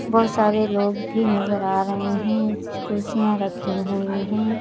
बहुत सारे लोग भी नजर आ रहे हैं कुर्सियां रखी हुई हैं।